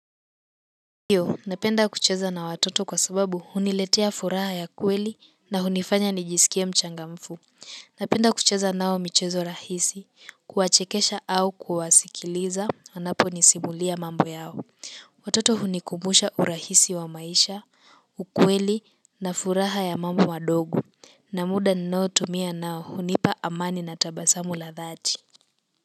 Ndiyo napenda kucheza na watoto, kwa sababu, huniletea furaha ya kweli, na hunifanya nijisikie mchangamfu napenda kucheza nao michezo rahisi, kuwachekesha au kuwasikiliza, wanaponisimulia mambo yao watoto hunikumbusha urahisi wa maisha, ukweli na furaha ya mambo madogo, na muda ninao tumia nao hunipa amani na tabasamu la dhati.